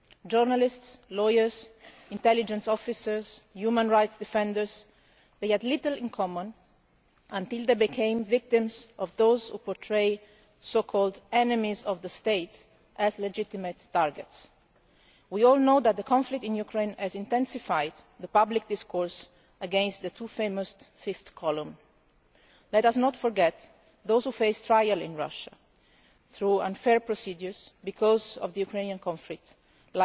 Journalists, lawyers, intelligence officers, human rights defenders they had little in common until they became victims of those who portray so-called enemies of the state' as legitimate targets. We all know that the conflict in Ukraine has intensified the public discourse against the too-famous Fifth Column. Let us not forget those who face trial in Russia through unfair procedures because of the Ukrainian conflict,